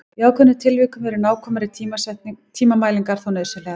Í ákveðnum tilvikum eru nákvæmari tímamælingar þó nauðsynlegar.